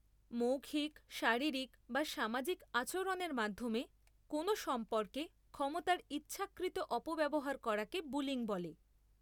মৌখিক, শারীরিক বা সামাজিক আচরণের মাধ্যমে কোনও সম্পর্কে ক্ষমতার ইচ্ছাকৃত অপব্যবহার করাকে বুলিং বলে।